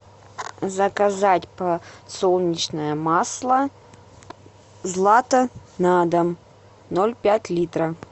заказать подсолнечное масло злато на дом ноль пять литра